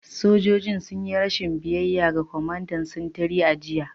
Sojojin sun yi rashin biyayya ga kwamandan sintiri a jiya